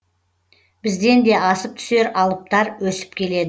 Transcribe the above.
бізден де асып түсер алыптар өсіп келеді